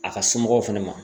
A ka somɔgɔw fɛnɛ ma.